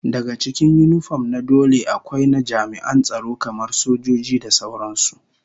Daga cikin yinifom na dole akwai na jami'an tsaro kamar sojoji da sauran su